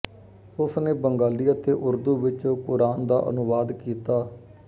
ਉਸਨੇ ਬੰਗਾਲੀ ਅਤੇ ਉਰਦੂ ਵਿੱਚ ਕ਼ੁਰਆਨ ਦਾ ਅਨੁਵਾਦ ਕੀਤਾ